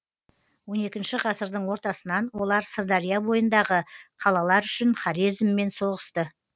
он екінші ғасырдың ортасынан олар сырдария бойындағы қалалар үшін хорезммен соғысты